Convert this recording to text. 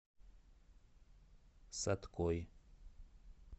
саткой